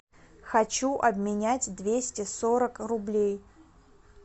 хочу обменять двести сорок рублей